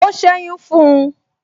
O seyun fun un